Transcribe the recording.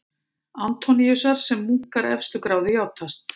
Antóníusar sem munkar efstu gráðu játast.